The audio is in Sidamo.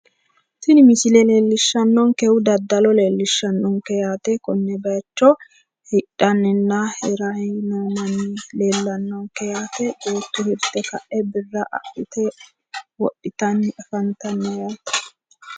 Tini misile leellishshanonkehu daddalo leellishshanonke yaate konne bayiicho hidhanninna hiranni noo manni leellannonke yaate beetto hirte ka'e birra adhite wodhitanni afantanno yaate.